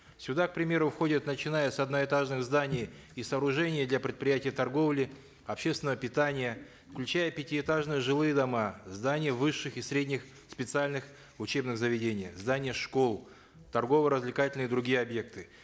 сюда к примеру входят начиная с одноэтажных зданий и сооружений для предприятий торговли общественного питания включая пятиэтажные жилые дома здания высших и средних специальных учебных заведений здания школ торгово развлекательные и другие объекты